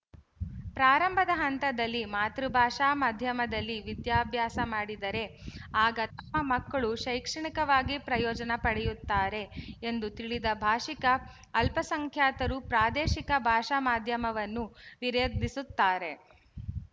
ಪ್ರಾರಂಭದ ಹಂತದಲ್ಲಿ ಮಾತೃಭಾಷಾ ಮಾಧ್ಯಮದಲ್ಲಿ ವಿದ್ಯಾಬ್ಯಾಸ ಮಾಡಿದರೆ ಆಗ ತಮ್ಮ ಮಕ್ಕಳು ಶೈಕ್ಷಣಿಕವಾಗಿ ಪ್ರಯೋಜನ ಪಡೆಯುತ್ತಾರೆ ಎಂದು ತಿಳಿದ ಭಾಶಿಕ ಅಲ್ಪಸಂಖ್ಯಾತರೂ ಪ್ರಾದೇಶಿಕ ಭಾಷಾಮಾಧ್ಯಮವನ್ನು ವಿರೋಧಿಸುತ್ತಾರೆ